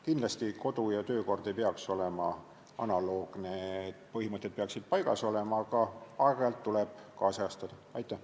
Kindlasti ei peaks kodu- ja töökord olema analoogne, põhimõtted peaksid paigas olema, aga aeg-ajalt tuleb seda nüüdisajastada.